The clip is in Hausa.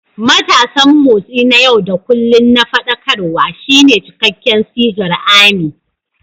Matasan Motsi na yau da kullun na Faɗakarwa" shine cikakken sigar "ARMY."